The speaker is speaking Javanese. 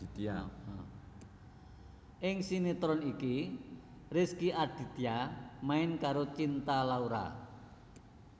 Ing sinetron iki Rezky Aditya main karo Cinta Laura